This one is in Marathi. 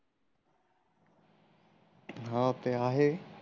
हम्म ते आहे